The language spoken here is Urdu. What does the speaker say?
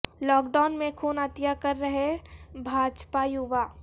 لاک ڈائون میں خون عطیہ کر رہے بھاجپا یوا